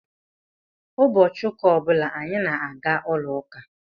Ụbọchị ụka ọ bụla anyị na-aga n'ụlọ uka.